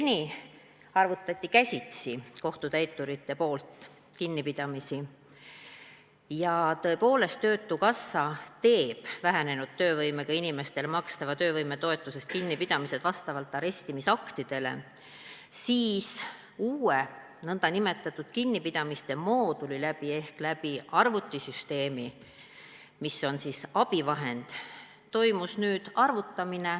Seni arvutasid kohtutäiturid kinnipidamisi käsitsi ja Töötukassa tegi vähenenud töövõimega inimestele makstavast töövõimetoetusest kinnipidamised vastavalt arestimisaktidele, seevastu nüüd toimus arvutamine uue nn kinnipidamiste mooduli kaudu ehk läbi arvutisüsteemi, mis on abivahend.